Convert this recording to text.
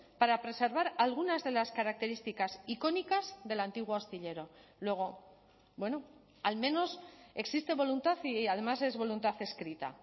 para preservar algunas de las características icónicas del antiguo astillero luego bueno al menos existe voluntad y además es voluntad escrita